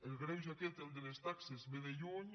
el greuge aquest el de les taxes ve de lluny